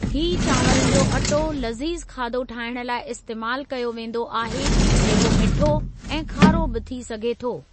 ही चांवरनि जो अटो लज़ीज़ु खाधो ठाहिण लाइ इस्तेमाल कयो वेंदो आहे जेको मिठो ऐं खारो बि थी सघे थो।